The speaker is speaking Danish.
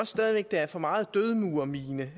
stadig væk er for meget død murer mine